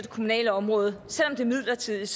kommunale område selv om det er midlertidigt